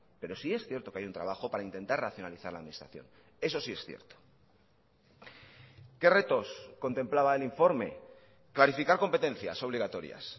pero sí es cierto que hay un trabajo para intentar racionalizar la administración eso sí es cierto qué retos contemplaba el informe clarificar competencias obligatorias